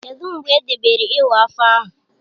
Kedụ mgbe edebere iwa afọ ahụ?